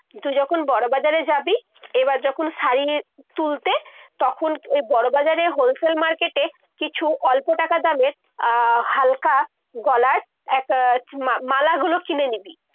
কিন্তু যখন বড় বাজারে যাবি। এবার যখন শাড়ির তুলতে তখন ওই বড় বাজারে ওই wholesale market এ কিছু অল্প টাকা দামের আহ হালকা গলার একটা মালাগুলো কিনে নিবি।